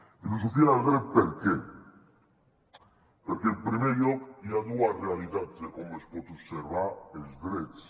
filosofia del dret per què perquè en primer lloc hi ha dues realitats de com es poden observar els drets